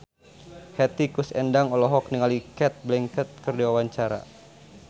Hetty Koes Endang olohok ningali Cate Blanchett keur diwawancara